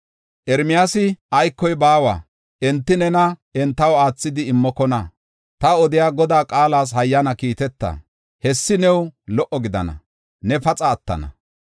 Ermiyaasi, “Aykoy baawa! Enti nena entaw aathidi immokona. Ta odiya Godaa qaalas hayyana kiiteta. Hessi new lo77o gidana; ne paxa attana.